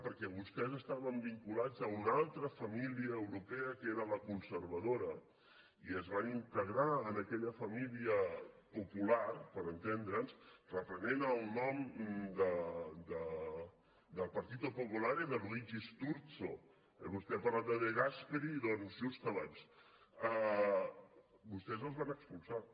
perquè vostès estaven vinculats a una altra família europea que era la conservadora i es van integrar en aquella família popular per entendre’ns reprenent el nom del partito popolare de luigi sturzo vostè ha parlat de de gasperi doncs just abans vostès els van expulsar